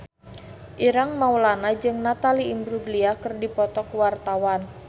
Ireng Maulana jeung Natalie Imbruglia keur dipoto ku wartawan